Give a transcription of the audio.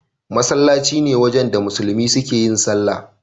Masallaci ne wajen da musulmi suke yin sallah.